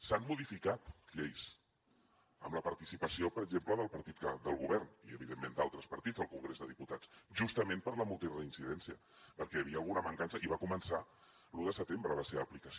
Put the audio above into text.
s’han modificat lleis amb la participació per exemple del partit del govern i evidentment d’altres partits al congrés de diputats justament per la multireincidència perquè hi havia alguna mancança i va començar l’un de setembre la seva aplicació